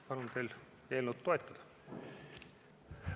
Palun teil eelnõu toetada!